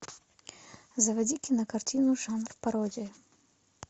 заводи кинокартину жанр пародия